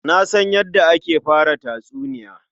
Na san yadda ake fara tatsuniya.